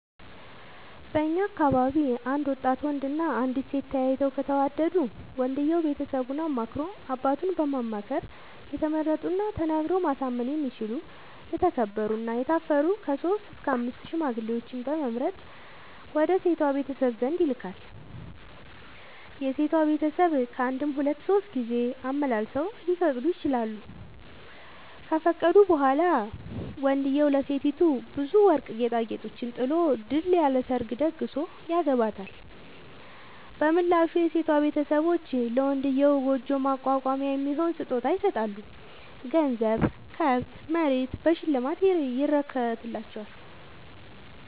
በእኛ አካባቢ አንድ ወጣት ወንድ እና አንዲት ሴት ተያይተው ከተወዳዱ ወንድየው ቤተሰቡን አማክሮ አባቱን በማማከር የተመረጡና ተናግረው ማሳመን የሚችሉ የተከበሩ እና የታፈሩ ከሶስት እስከ አምስት ሽማግሌዎችን በመምረጥ ወደ ሴቷ ቤተሰብ ዘንድ ይልካል። የሴቷ ቤተሰብ ካንድም ሁለት ሶስት ጊዜ አመላልሰው ሊፈቅዱ ይችላሉ። ከፈቀዱ በኋላ ወንድዬው ለሴቲቱ ብዙ ወርቅ ጌጣጌጦችን ጥሎ ድል ያለ ሰርግ ተደግሶ ያገባታል። በምላሹ የሴቷ ቤተሰቦች ለመንድዬው ጉጆ ማቋቋሚያ የሚሆን ስጦታ ይሰጣሉ ገንዘብ፣ ከብት፣ መሬት በሽልማት ይረከትላቸዋል።